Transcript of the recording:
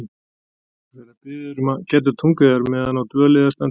Ég verð að biðja yður um að gæta tungu yðar meðan á dvöl yðar stendur.